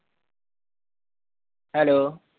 Hello